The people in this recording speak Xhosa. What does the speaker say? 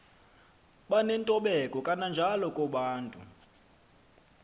banentobeko kananjalo kobantu